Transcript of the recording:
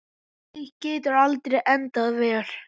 Slíkt getur aldrei endað vel.